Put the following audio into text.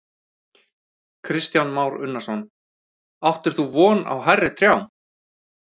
Kristján Már Unnarsson: Áttir þú von á hærri trjám?